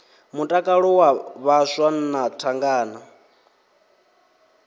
mutakalo wa vhaswa na thangana